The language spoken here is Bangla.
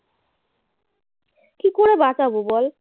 কী করে বাঁচাব বল